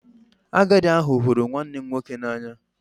Agadi ahu huru nwannem nwoke n'anya